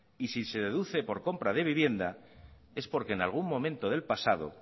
y si se deduce por compra de vivienda es porque en algún momento del pasado